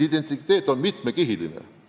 Identiteet on mitmekihiline.